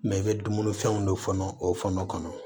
Mɛ i bɛ dumunifɛnw don fɔnɔ o fana kɔnɔ